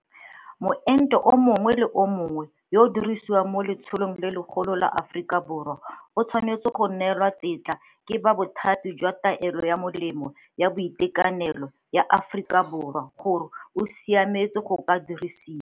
Moento yo mongwe le yo mongwe yo o dirisiwang mo letsholong le legolo la Aforika Borwa o tshwanetse go neelwa tetla ke ba Bothati jwa Taolo ya Melemo ya Boitekanelo ya Aforika Borwa gore o siametse go ka diriwiswa.